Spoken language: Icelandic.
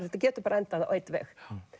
þetta getur bara endað á einn veg